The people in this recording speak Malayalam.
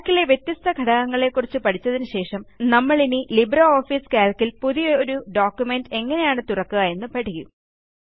Calcലെ വ്യത്യസ്ത ഘടകങ്ങളെക്കുറിച്ച് പഠിച്ചതിന് ശേഷം നമ്മളിനി ലിബ്രിയോഫീസ് കാൽക്ക് ൽ പുതിയൊരു ഡോക്യുമെന്റ് എങ്ങനെയാണ് തുറക്കുക എന്ന് പഠിക്കും